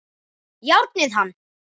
Járnið hann!